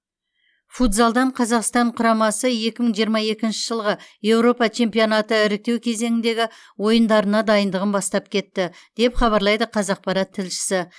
футзалдан қазақстан құрамасы екі мың жиырма екінші жылғы еуропа чемпионаты іріктеу кезеңіндегі ойындарына дайындығын бастап кетті деп хабарлайды қазақпарат тілшісі